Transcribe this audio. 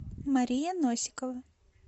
мария носикова